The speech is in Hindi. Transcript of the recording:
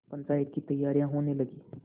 पंचायत की तैयारियाँ होने लगीं